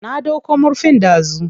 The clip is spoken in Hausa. Na ɗauko murfin dazu.